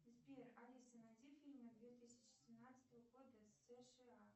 сбер алиса найди фильмы две тысячи семнадцатого года сша